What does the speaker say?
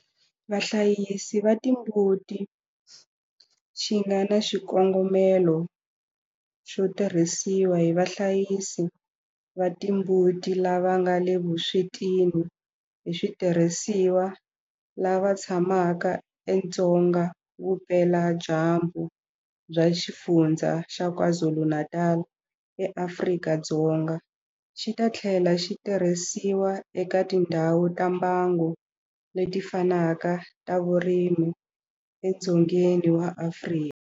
Vahlayisi va timbuti xi nga na xikongomelo xo tirhisiwa hi vahlayisi va timbuti lava nga le vuswetini hi switirhisiwa lava tshamaka edzonga vupeladyambu bya Xifundzha xa KwaZulu-Natal eAfrika-Dzonga, xi ta tlhela xi tirhisiwa eka tindhawu ta mbango leti fanaka ta vurimi edzongeni wa Afrika.